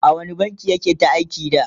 a wani bankin yake ta aiki da?